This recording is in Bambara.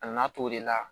A nana to de la